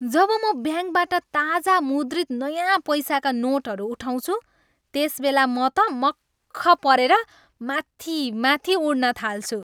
जब म ब्याङ्कबाट ताजा मुद्रित नयाँ पैसाका नोटहरू उठाउँछु त्यसबेल म त मख्ख परेर माथि माथि उड्न थाल्छु।